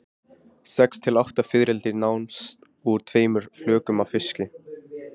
Sex til átta fiðrildi nást úr tveimur flökum af fiski.